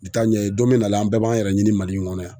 Nin t'a ɲɛ ye dɛ don mɛ na an bɛɛ b'an yɛrɛ ɲini MALI in kɔnɔ yan.